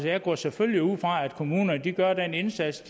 jeg går selvfølgelig ud fra at kommunerne gør den indsats